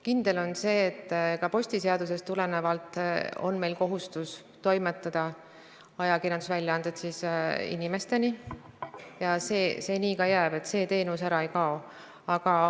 Kindel on see, et ka postiseadusest tulenevalt on meil kohustus ajakirjandusväljaanded inimesteni toimetada ja nii see ka jääb, see teenus ära ei kao.